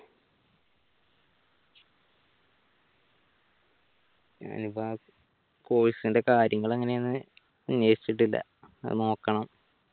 course ന്‍റെ കാര്യങ്ങൾ എങ്ങനെയാണ് അന്വേഷിച്ചിട്ടില്ല അത് നോക്കണം